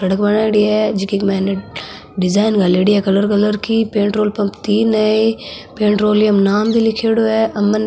सड़क बनाईडी है जिकी माइन डिजाइन घालैडी है कलर कलर की पेट्रोल पम्प तीन है पेट्रोलियम नाम भी लीखेड़ो है अमन --